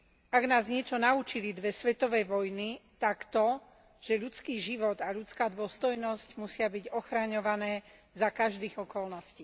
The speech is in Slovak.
Ak nás niečo naučili dve svetové vojny, tak to, že ľudský život a ľudská dôstojnosť musia byť ochraňované za každých okolností.